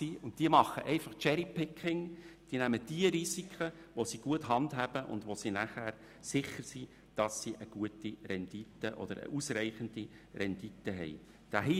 Diese machen «Cherry Picking», indem sie diejenigen Risiken auswählen, die sie gut handhaben können und bei welchen sie sich einer guten oder ausreichenden Rendite sicher sind.